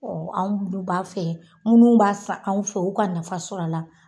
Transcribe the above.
Ɔ anw munnu b'a feere munnu b'a san anw fɛ olu ka nafa sɔrɔ a la